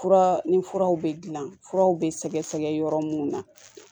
Fura ni furaw bɛ dilan furaw bɛ sɛgɛsɛgɛ yɔrɔ mun na